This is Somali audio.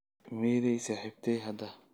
meeday saaxiibtay hadda